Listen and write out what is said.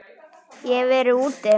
Ég hef verið úti.